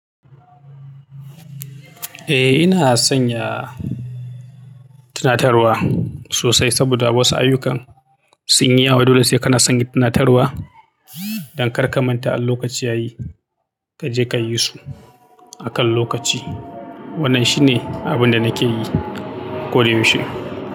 Eh, ina sanya tunatarwa sosai saboda wasu ayyukan sun yi yawa. Dole sai kana sanya tunatarwa don kar ka manta in lokaci yayi kaje ka yi su akan lokaci. Wannan shi ne abin da nake yi ko da yaushe.